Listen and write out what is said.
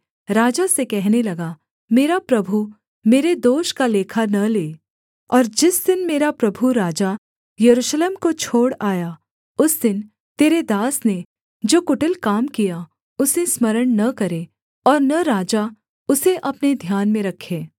राजा से कहने लगा मेरा प्रभु मेरे दोष का लेखा न ले और जिस दिन मेरा प्रभु राजा यरूशलेम को छोड़ आया उस दिन तेरे दास ने जो कुटिल काम किया उसे स्मरण न करे और न राजा उसे अपने ध्यान में रखे